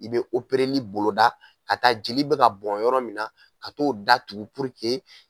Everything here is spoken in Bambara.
I bɛ opereli boloda ka taa jeli bɛ ka bɔn yɔrɔ min na ka t'o datugu puruke